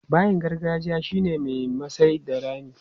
Bayin gargajiya shi ne mai masai da rami.